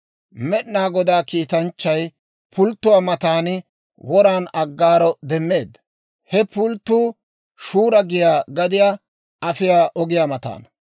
Med'inaa Godaa kiitanchchay pulttuwaa matan woran Aggaaro demmeedda; he pulttuu Shura giyaa gadiyaa afiyaa ogiyaa mataana.